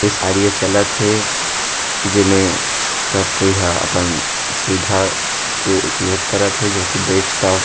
इस कार्य चलत हे जेमें सब कोई ह पन सीधा के उपयोग करत हे जो की बेच टा--